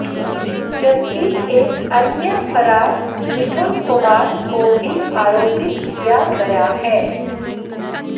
जबकि एक अन्य फरार मिथुन कुमार को भी आरोपित किया गया है